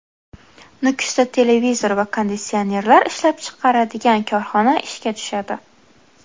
Nukusda televizor va konditsionerlar ishlab chiqaradigan korxona ishga tushadi.